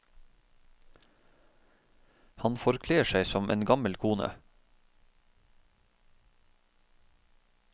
Han forkler seg som en gammel kone.